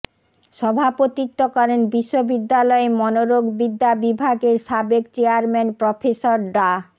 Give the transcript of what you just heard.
সভাপতিত্ব করেন বিশ্ববিদ্যালয়ের মনোরোগবিদ্যা বিভাগের সাবেক চেয়ারম্যান প্রফেসর ডা